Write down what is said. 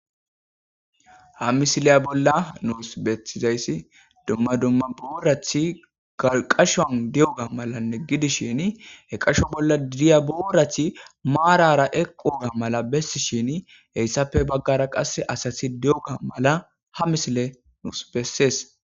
Ha misileya bolla nuus betizayssi dumma dumma boorathi qashoan di7oga malanne gidishin he qasho bolla diya boorathi maarara eqoga mala bessi shin heyssappe baggara qass asati di7oga mala ha misile nuus bessees